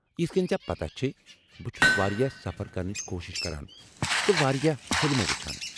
یِتھہٕ كٕنۍ ژے٘ پتاہ چھےٚ ، بہٕ چُھس واریاہ سفر کرنٕچ كوشِش كران تہٕ وارِیاہ فلمہٕ وُچھان۔